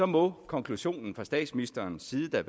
må konklusionen fra statsministerens side da